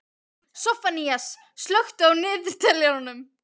Soffanías, slökktu á niðurteljaranum.